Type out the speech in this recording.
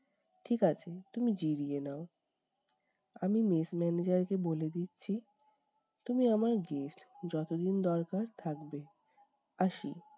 ঠিক আছে, তুমি জিরিয়ে নাও। আমি mess manager কে বলে দিচ্ছি, তুমি আমার guest যতদিন দরকার থাকবে, আসি।